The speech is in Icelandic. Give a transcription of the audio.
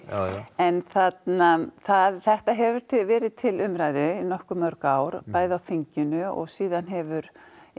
en þetta hefur verið til umræðu í nokkuð mörg ár bæði á þinginu og síðan hefur